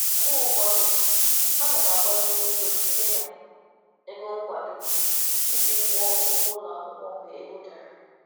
Mgbe ụfọdụ ana m agbazinye ego site na ego nkwado iji kwụọ ụgwọ ụlọ akwụkwọ mgbe ego dara.